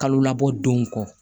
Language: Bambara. Kalo labɔ denw kɔ